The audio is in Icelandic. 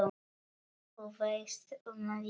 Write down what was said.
Þú veist, um lífið?